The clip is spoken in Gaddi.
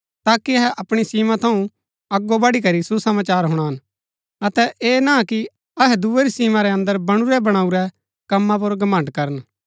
ताकि अहै अपणी सीमा थऊँ अगो बढ़ीकरी सुसमाचार हुणान अतै ऐह ना कि अहै दूये री सीमा रै अन्दर बणुरै बणाऊरै कम्मा पुर घमण्ड़ करन